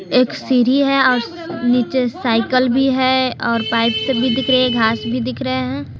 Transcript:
एक सीढ़ी है आस नीचे साइकल भी है और पाइप सभी दिख रही है घास भी दिख रहे हैं।